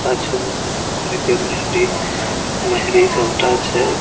पाछू में काम कर के मेंहदी मेहरी सबटा छै।